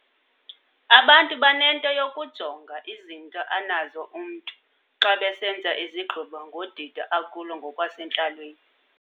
Abantu banento yokujonga izinto anazo umntu xa besenza izigqibo ngodidi akulo ngokwasentlalweni.